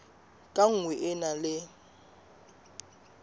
ka nngwe e na le